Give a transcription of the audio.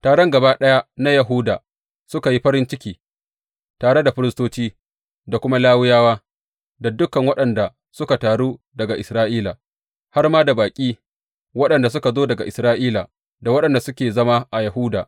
Taron gaba ɗaya na Yahuda suka yi farin ciki, tare da firistoci da kuma Lawiyawa da dukan waɗanda suka taru daga Isra’ila, har ma da baƙi waɗanda suka zo daga Isra’ila da waɗanda suke zama a Yahuda.